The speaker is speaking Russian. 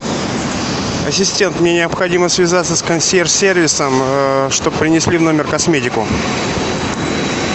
ассистент мне необходимо связаться с консьерж сервисом чтобы принесли в номер косметику